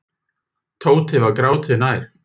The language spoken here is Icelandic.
Tóti var gráti nær.